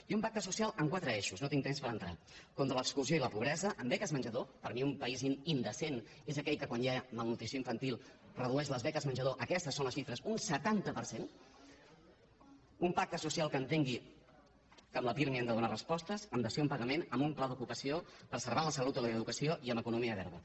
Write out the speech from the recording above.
i un pacte social amb quatre eixos no tinc temps per entrar hi contra l’exclusió i la pobresa amb beques menjador per mi un país indecent és aquell que quan hi ha malnutrició infantil redueix les beques menjador aquestes són les xifres un setanta per cent un pacte social que entengui que amb la pirmi han de donar respostes amb dació en pagament amb un pla d’ocupació preservant la salut i l’educació i amb economia verda